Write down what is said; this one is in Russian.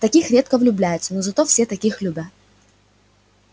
в таких редко влюбляются но зато все таких любят